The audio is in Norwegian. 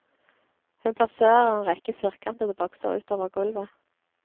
Hun plasserer en rekke firkantede bokser utover gulvet.